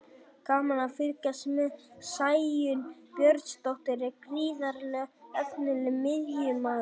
Gaman að fylgjast með: Sæunn Björnsdóttir er gríðarlega efnilegur miðjumaður.